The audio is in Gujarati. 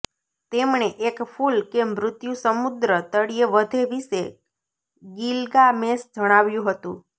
તેમણે એક ફૂલ કે મૃત્યુ સમુદ્ર તળિયે વધે વિશે ગિલ્ગામેશ જણાવ્યું હતું